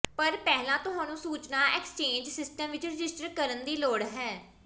ਪਰ ਪਹਿਲਾਂ ਤੁਹਾਨੂੰ ਸੂਚਨਾ ਐਕਸਚੇਂਜ ਸਿਸਟਮ ਵਿਚ ਰਜਿਸਟਰ ਕਰਨ ਦੀ ਲੋੜ ਹੈ